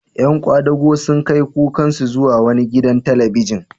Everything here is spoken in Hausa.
Ƴan kwadago sun kai kukansu zuwa wani gidan talabijin.